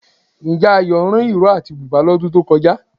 Ǹjẹ́ Ayọ̀ rán ìró àti bùbá lọ́dún tó kọjá?